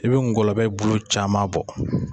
E be ngɔlɔbɛ bulu caman bɔ